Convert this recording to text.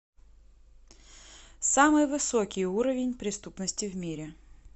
самый высокий уровень преступности в мире